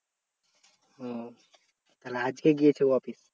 ও তাহলে আজকে গিয়েছে ও office?